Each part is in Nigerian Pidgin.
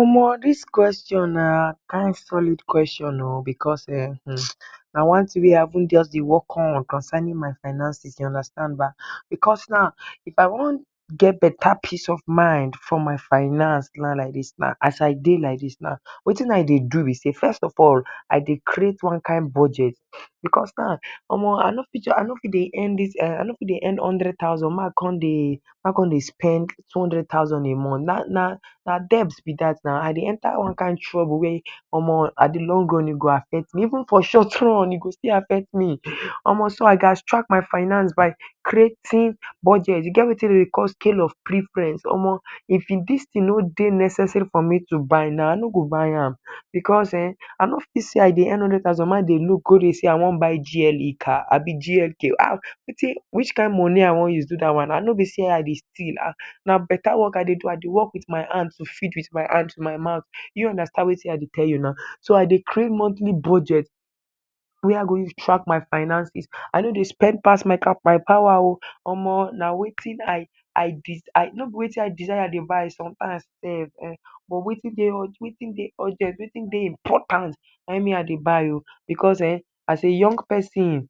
Omo! Dis kweshon na kin solid kweshon oh! Because ehn! [hisses] Na one tin wey I just dey work on concerning my finances, you understand ba? Because now, if I wan get beta peace of mind for my finance, na like dis as I dey like dis. Wetin I dey do be say, first of all, I dey create one kin budget. Because now, omo! I no fit just dey earn hundred thousand make I con dey spend two hundred thousand a month. Na debs be dat na! I dey enter one kin trouble wey—omo! In de long run e go affect me. Even for short run e go still affect me. So, I gats track my finance by creating budget. E get wetin dey dey call scale of preference. Omo! If dis tin no dey necessary for me to buy na, I no go buy am. Because ehn! I no fit say I dey earn hundred thousand make I dey look go dey say I wan buy GLE car abi GLK. Wetin?! Which kin moni I wan use do dat one? And no be say I dey steal. Na beta work I dey do. I dey work with my hand to feed with my hand… my mouth. Do you understand wetin I dey tell you na? So, I dey create monthly budget wey I go use track my finances. I no dey spend pass my power oh! Omo! Na wetin I—I—I… no be wetin I desire I dey buy sometimes sef. But, wetin dey… wetin dey urgent, wetin dey important, na him I dey buy oh! Because ehn! As a young pesin,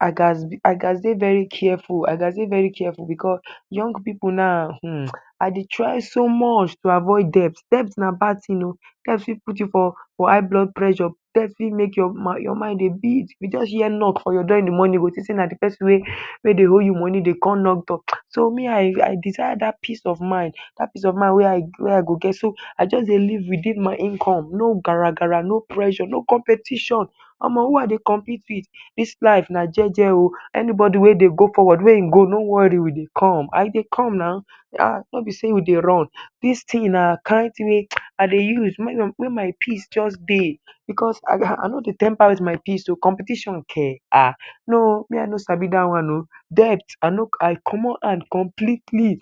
I gats dey very careful. I gats dey very careful. Because young pipu now, un! I dey try so much to avoid debt. Debt na bad tin oh! Debt fit put you for high blood pressure. Debt fit make your mind dey beat—if you just hear knock for your door in de morning, you go think say na de pesin wey you dey owe moni dey con knock door. So, me I desire dat peace of mind. Dat peace of mind wey I go get, I just dey live within my income. No gargara. No pressure. No competition. Omo! Who I dey compete with? Dis life na jeje oh! Anybody wey dey go forward, no worry, make e go. We dey come. I dey come now. Ah! No be say we dey run. Dis tin na kin tin wey I dey use make my peace dey, because I gat… I no dey temper with my peace oh! Competition ke? Ah! No! Me I no sabi dat one. Debt—I comot hand completely.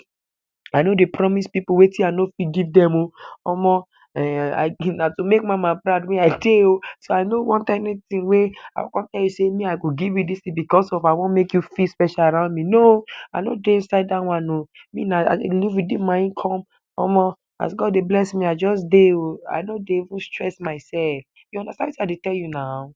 I no dey promise pipu wetin I no fit give dem oh! Omo! Um! Na to make Mama proud me I dey oh! So, I no want anything wey I go con tell you say “I go give you dis tin” because I wan make you feel special around me. No! I no dey inside dat one oh! Me na, I dey live within my income. Omo! As God dey bless me, I just dey oh! I no dey even stress myself. You understand wetin I dey say na?